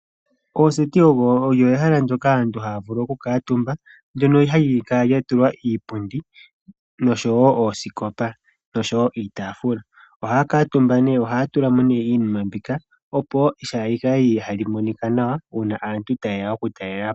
Ooseti olyo ehala ndyoka aantu haya vulu okukuutumba , ndjono hali kala lyatulwa iipundi noshowoo oosikopa niitaafula. Ohaya kuutumba , ohaya tula mo iinima mboka opo tayi monika nawa uuna aantu taye ya okutalelapo .